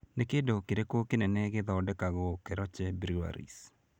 Nĩ kĩndũ kĩrĩkũ kĩnene gĩthondekagwo Keroche Breweries?